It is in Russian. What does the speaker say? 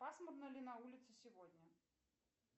пасмурно ли на улице сегодня